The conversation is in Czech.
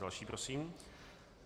Další prosím.